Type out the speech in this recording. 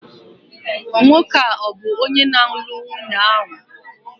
Nwoke a bu onye nālu nwunye ọhu?